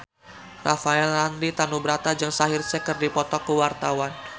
Rafael Landry Tanubrata jeung Shaheer Sheikh keur dipoto ku wartawan